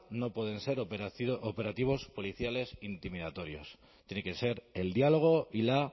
no pueden ser operativos policiales intimidatorios tiene que ser el diálogo y la